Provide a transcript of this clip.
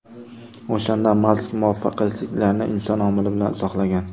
O‘shanda Mask muvaffaqiyatsizliklarni inson omili bilan izohlagan.